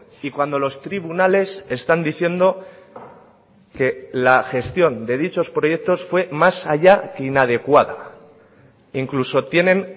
y cuando los tribunales están diciendo que la gestión de dichos proyectos fue más allá que inadecuada incluso tienen